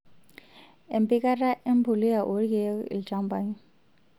Empikata empuliya oorkiek ilchampai.